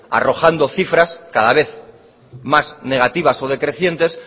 arrojando cifras cada vez más negativas o decrecientes